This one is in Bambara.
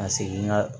Ka segin n ka